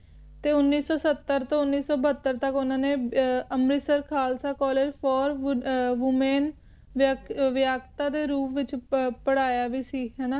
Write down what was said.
ਤੇ ਉਨੀਸ ਸੋ ਸੱਤਰ ਤੋਂ ਉਨੀਸ ਸੋ ਬਹੱਤਰ ਤਕ ਉਨ੍ਹਾਂ ਨੇ Amritsar Khalsa college for women ਵਯਾਗਤਾ ਦੇ ਰੂਪ ਵਿਚ ਪ੍ਰਹਾਯਾ ਵੀ ਸੀ ਹੈਨਾ